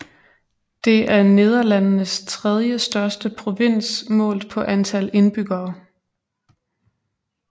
Det er Nederlandenes tredje største provins målt på antal indbyggere